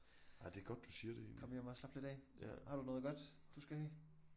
Komme hjem og slappe lidt af har du noget godt du skal have?